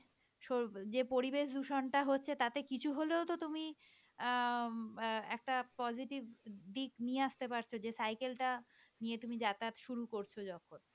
so~ যে পরিবেশ দূষণ হচ্ছে তাতে কিছু হলেও তো তুমি অ্যাঁ একটা positive দিক নিয়ে আসতে পারতো যে cycle টা নিয়ে তুমি যাতায়াত শুরু করছো যখন,